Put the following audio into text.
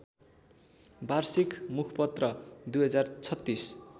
वार्षिक मुखपत्र २०३६